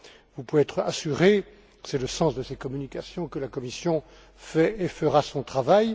Vous pouvez être assurés c'est le sens de ces communications que la Commission fait et fera son travail.